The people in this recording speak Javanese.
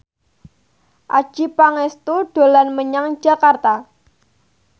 Adjie Pangestu dolan menyang Jakarta